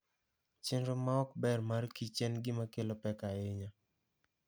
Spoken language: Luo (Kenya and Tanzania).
Chenro ma ok ber mar kich en gima kelo pek ahinya.